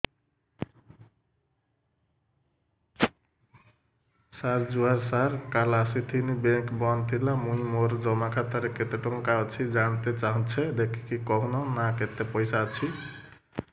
ସାର ଜୁହାର ସାର କାଲ ଆସିଥିନି ବେଙ୍କ ବନ୍ଦ ଥିଲା ମୁଇଁ ମୋର ଜମା ଖାତାରେ କେତେ ଟଙ୍କା ଅଛି ଜାଣତେ ଚାହୁଁଛେ ଦେଖିକି କହୁନ ନା କେତ ପଇସା ଅଛି